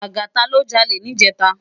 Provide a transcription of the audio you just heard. Lagata lò jàlé nijètá